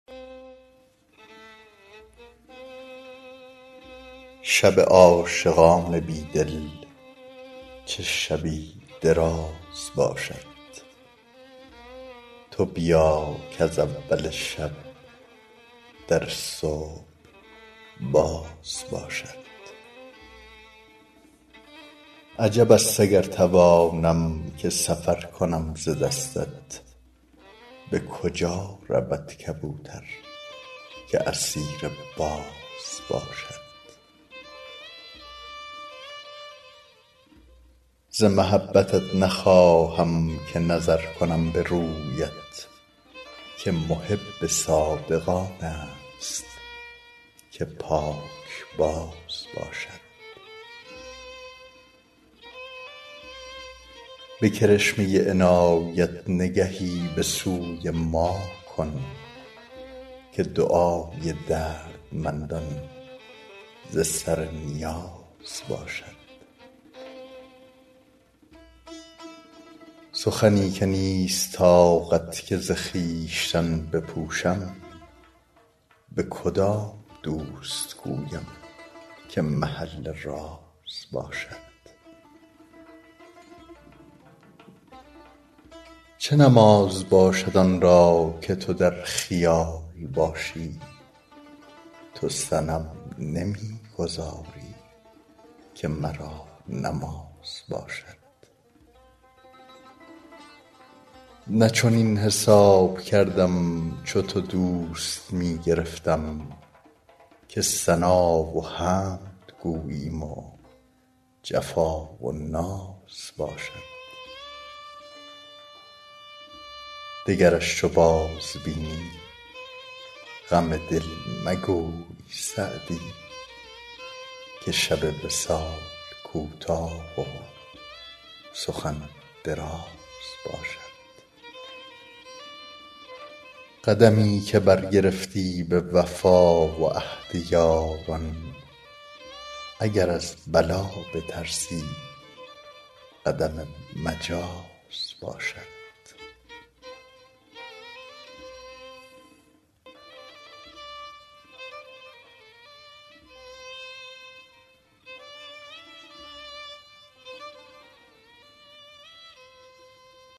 شب عاشقان بی دل چه شبی دراز باشد تو بیا کز اول شب در صبح باز باشد عجب است اگر توانم که سفر کنم ز دستت به کجا رود کبوتر که اسیر باز باشد ز محبتت نخواهم که نظر کنم به رویت که محب صادق آن است که پاکباز باشد به کرشمه عنایت نگهی به سوی ما کن که دعای دردمندان ز سر نیاز باشد سخنی که نیست طاقت که ز خویشتن بپوشم به کدام دوست گویم که محل راز باشد چه نماز باشد آن را که تو در خیال باشی تو صنم نمی گذاری که مرا نماز باشد نه چنین حساب کردم چو تو دوست می گرفتم که ثنا و حمد گوییم و جفا و ناز باشد دگرش چو بازبینی غم دل مگوی سعدی که شب وصال کوتاه و سخن دراز باشد قدمی که برگرفتی به وفا و عهد یاران اگر از بلا بترسی قدم مجاز باشد